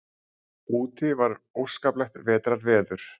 Úti var óskaplegt vetrarveður.